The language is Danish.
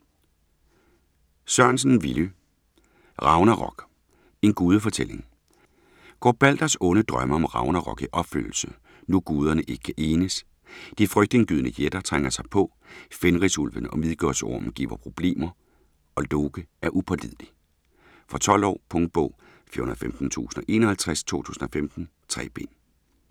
Sørensen, Villy: Ragnarok: en gudefortælling Går Balders onde drømme om ragnarok i opfyldelse, nu guderne ikke kan enes, de frygtindgydende jætter trænger sig på, Fenrisulven og Midgårdsormen giver problemer, og Loke er upålidelig? Fra 12 år. Punktbog 415051 2015. 3 bind.